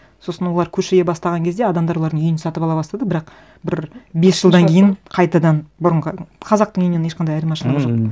сосын олар көше бастаған кезде адамдар олардың үйін сатып ала бастады бірақ бір бес жылдан кейін қайтадан бұрынғы қазақтың үйінен ешқандай айырмашылығы жоқ